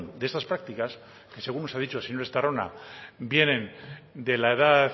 de esas prácticas que según se ha dicho el señor estarrona vienen de la edad